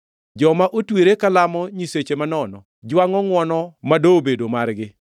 “Joma otwere kalamo nyiseche manono, jwangʼo ngʼwono mado bedo margi.